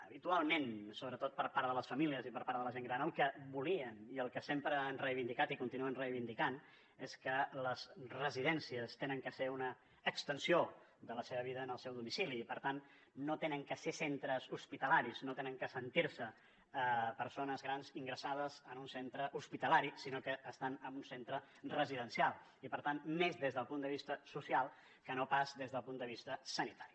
habitualment sobretot per part de les famílies i per part de la gent gran el que volien i el que sempre han reivindicat i continuen reivindicant és que les residències han de ser una extensió de la seva vida en el seu domicili i per tant no han de ser centres hospitalaris no han de sentir se persones grans ingressades en un centre hospitalari sinó que estan en un centre residencial i per tant més des del punt de vista social que no pas des del punt de vista sanitari